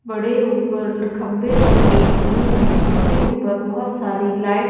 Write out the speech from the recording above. बड़े ऊपर खंभे लगे हुए हैं जिनमें ऊपर बहुत सारी लाइट --